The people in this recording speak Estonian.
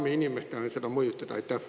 Kas inimesed saavad seda mõjutada?